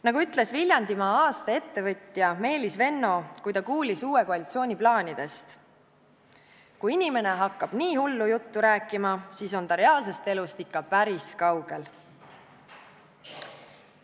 Nagu ütles Viljandimaa aasta ettevõtja Meelis Venno, kui ta kuulis uue koalitsiooni plaanidest: "Kui inimene hakkab nii hullu juttu rääkima, siis on ta reaalsest elust ikka päris kaugel.